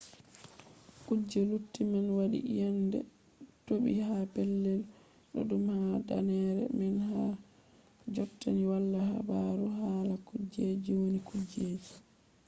kuje lutti man waɗi iyende toɓi ha pellel ɗuɗɗum ha danneere man har jotta ni wala habaru hala kuje wonni kujeji